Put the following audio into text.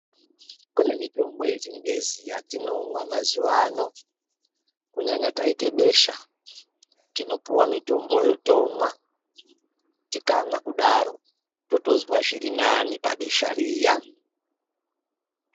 Kune mitombo ye chingezi yatinomwa mazuva ano kunyanya taite besha tinopuwa mitomboyo tomwa tikamwa kudaro totozwa zviri nane pa besha riya.